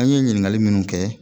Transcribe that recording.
An ye ɲininkali minnu kɛ